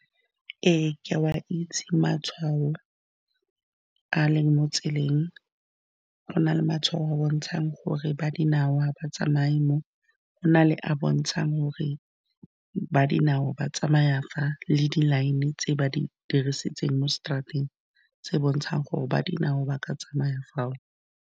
Ee, ke a wa itse matshwao a leng mo tseleng. Go na le matshwao a a bontshang gore ba dinao batsamaea mo gona, le a a bontshang gore ba dinao ba tsamaya fa, le di-line tse ba di dirisitseng mo straat-eng tse di bontshang gore ba dinao ba ka tsamaya fao.